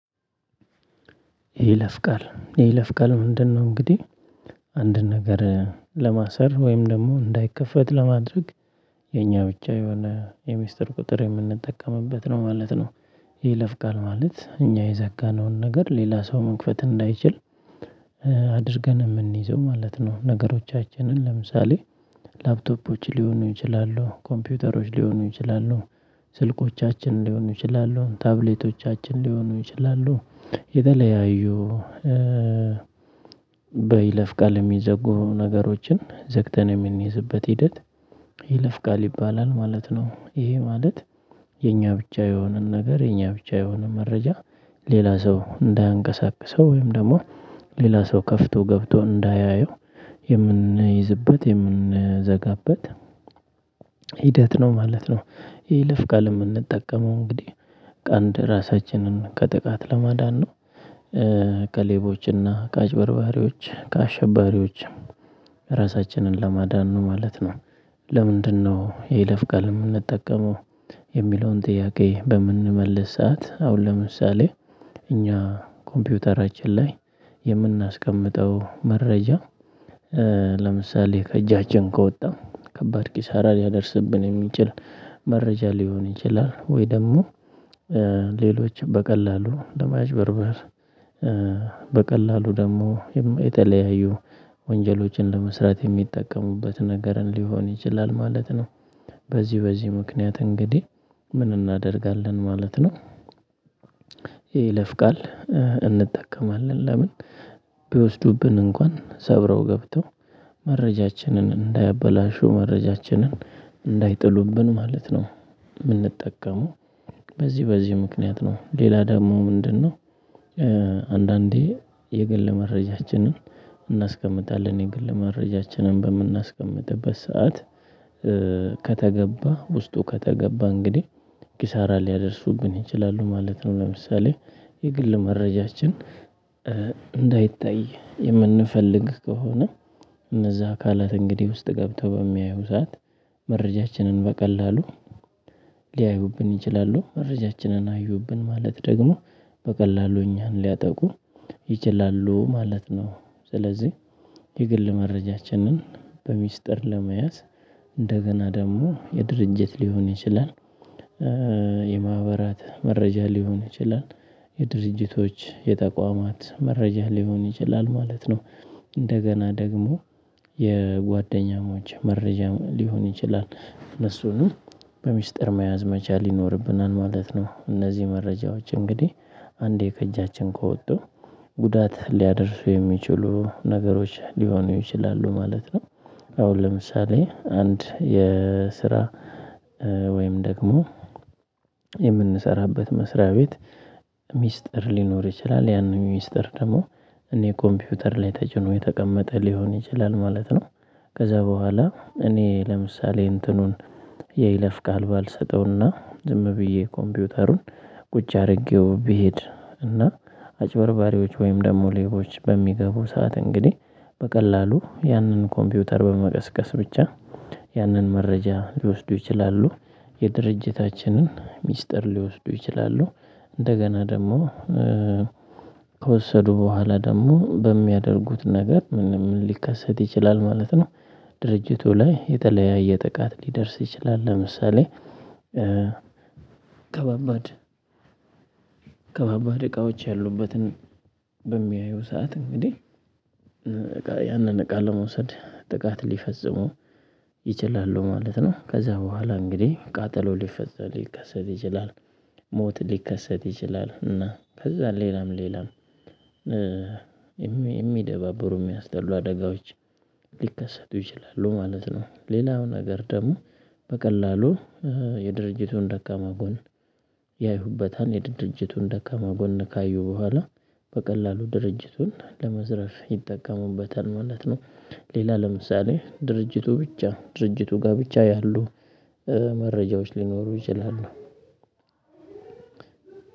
ይለፍ ቃል የይለፍ ቃል ምንድነው? እንግዲህ አንድ ነገር ለማሰር ወይም ደግሞ እንዳይከፈት ለማድረግ። የኛ ብቻ የሆነ የሚስጥር ቁጥር የምንጠቀምበት ነው ማለት ነው። የይለፍ ቃል ማለት እኛ የዘጋነውን ነገር ሌላ ሰው መክፈት እንዳይችል። አድርገን የምንይዘው ማለት ነው ነገሮቻችንን ለምሳሌ። ላፕቶፖች ሊሆኑ ይችላሉ ኮምፒውተሮች ሊሆኑ ይችላሉ። ስልኮቻችን ሊሆኑ ይችላሉ ታብሌቶቻችን ሊሆኑ ይችላሉ። የተለያዩ በይለፍ ቃል የሚዘጉ ነገሮችን ዘግተን የምንይዝበት ሂደት። ይይለፍ ቃል ይባላል ማለት ነው። ይሄ ማለት የኛ ብቻ የሆነን ነገር የኛ ብቻ የሆነ መረጃ። ሌላ ሰው እንዳያንቀሳቅሰው ወይም ደግሞ ሌላ ሰው ከፍቶ ገብቶ እንዳያየው። የምንይዝበት የምንዘጋበት ሂደት ነው ማለት ነው። የይለፍ ቃል የምንጠቀመው እንግዲህ ቀን ራሳችንን ከጥቃት ለማዳን ነው። ከሌቦች እና ከአጭበርባሪዎች ከአሸባሪዎች ራሳችንን ለማዳን ነው ማለት ነው። ለምንድነው የይለፍ ቃል የምንጠቀመው? የሚለውን ጥያቄ በምንመልስ ሰዓት አሁን ለምሳሌ እኛ ኮምፒውተራችን ላይ የምናስቀምጠው መረጃ። ለምሳሌ ከእጃችን ከወጣ ከባድ ኪሳራ ሊያደርስብን የሚችል መረጃ ሊሆን ይችላል። ወይ ደግሞ ሌሎች በቀላሉ ለማጭበርበር በቀላሉ ደግሞ የተለያዩ ወንጀሎችን ለመስራት የሚጠቀሙበት ነገርን ሊሆን ይችላል ማለት ነው። በዚህ በዚህ ምክንያት እንግዲህ ምን እናደርጋለን ማለት ነው። የይለፍ ቃል እንጠቀማለን ለምን ቢወስዱብን እንኳን ሰብረው ገብተው መረጃችንን እንዳያበላሹ መረጃችንን እንዳይጥሉብን ማለት ነው። የምንጠቀመው በዚህ በዚህ ምክንያት ነው ሌላ ደግሞ ምንድነው? የግል መረጃችንን እናስቀምጣለን የግል መረጃችንን በምናስቀምጥበት ሰዓት። ከተገባ ውስጡ ከተገባ እንግዲህ ኪሳራ ሊያደርሱብን ይችላሉ ማለት ነው። ለምሳሌ የግል መረጃችን እንዳይታይ የምንፈልግ ከሆነ። እነዛ አካላት እንግዲህ ውስጥ ገብተው በሚያዩ ሰዓት መረጃችንን በቀላሉ ሊያዩብን ይችላሉ መረጃችንን አዩብን ማለት ደግሞ በቀላሉ እኛን ሊያጠቁ ይችላሉ ማለት ነው። ስለዚህ የግል መረጃችንን በሚስጥር ለመያዝ እንደገና ደግሞ የድርጅት ሊሆን ይችላል። የማህበራት መረጃ ሊሆን ይችላል የድርጅቶች የተቋማት መረጃ ሊሆን ይችላል ማለት ነው። እንደገና ደግሞ የጓደኛሞች መረጃ ሊሆን ይችላል እነሱንም በሚስጥር መያዝ መቻል ይኖርብናል ማለት ነው። እነዚህ መረጃዎች እንግዲህ አንዴ ከእጃችን ከወጡ ጉዳት ሊያደርሱ የሚችሉ ነገሮች ሊሆኑ ይችላሉ ማለት ነው። አሁን ለምሳሌ አንድ የስራ ወይም ደግሞ የምንሰራበት መስሪያ ቤት። ሚስጥር ሊኖር ይችላል ያንን ሚስጥር ደግሞ እኔ ኮምፒውተር ላይ ተጭኖ የተቀመጠ ሊሆን ይችላል ማለት ነው። ከዛ በኋላ እኔ ለምሳሌ እንትኑን ይለፍቃል ባልሰጠው እና ዝም ብዬ ኮምፒውተሩን ቁጭ አድርጌው ብሄድ እና። አጭበርባሪዎች ወይም ደግሞ ሌቦች በሚገቡ ሰዓት እንግዲህ በቀላሉ ያንን ኮምፒውተር በመቀስቀስ ብቻ ያንን መረጃ ሊወስዱ ይችላሉ። የድርጅታችንን ሚስጥር ሊወስዱ ይችላሉ። እንደገና ደግሞ ከወሰዱ በኋላ ደግሞ በሚያደርጉት ነገር ምንም ሊከሰት ይችላል ማለት ነው። ድርጅቱ ላይ የተለያየ ጥቃት ሊደርስ ይችላል ለምሳሌ። ከባባድ ከባባድ እቃዎች ያሉበትን በሚያዩ ሰዓት እንግዲህ ያንን እቃ ለመውሰድ ጥቃት ሊፈጽሙ ይችላሉ ማለት ነው። ከዛ በኋላ እንግዲህ ቃጠሎ ሊፈጽሙ ሊከሰት ይችላል። ሞት ሊከሰት ይችላል እና ከዛ ሌላም ሌላም የሚደባበሩ የሚያስጠሉ አደጋዎች ሊከሰቱ ይችላሉ ማለት ነው። ሌላው ነገር ደግሞ በቀላሉ የድርጅቱን ደካማ ጎን ያዩበታል የድርጅቱን ደካማ ጎን ካዩ በኋላ በቀላሉ ድርጅቱን ለመዝረፍ ይጠቀሙበታል ማለት ነው። ሌላ ለምሳሌ ድርጅቱ ብቻ ድርጅቱ ጋር ብቻ ያሉ መረጃዎች ሊኖሩ ይችላሉ።